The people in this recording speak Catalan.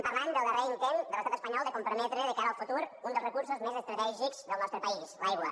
parlem del darrer intent de l’estat espanyol de comprometre de cara al futur un dels recursos més estratègics del nostre país l’aigua